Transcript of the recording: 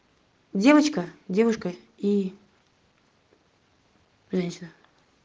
девочка девушка и женщина